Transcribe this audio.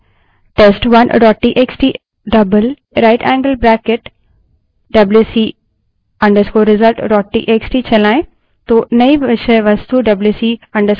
इसके बजाय यदि हम WC space test1 dot TXT writeangled bracket twice WC _ result dot TXT wc space test1 txt rightangled bracket twice wc _ results txt चलायें